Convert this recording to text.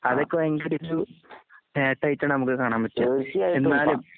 അതൊക്കെപയങ്കിരിചു നേട്ടായിട്ടാണ്നമുക്ക്കാണാൻപറ്റുക. എന്നാലും